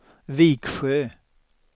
Viksjö